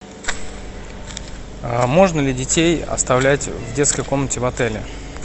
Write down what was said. можно ли детей оставлять в детской комнате в отеле